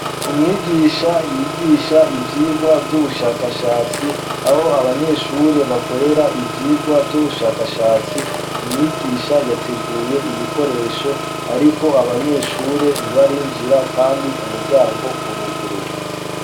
Umwigisha yigisha ivyigwa vy'ubushakashatsi aho abanyeshure bakorera ibyigwa vy'ubushakashatsi umwigisha yateguye ibikoresho ariko abanyeshure ntibarinjira kandi umuryango uruguruye.